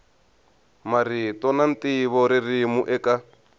marito na ntivo ririmi eka